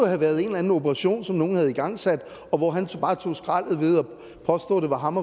have været en eller anden operation som nogle havde igangsat og hvor han så bare tog skraldet ved at påstå det var ham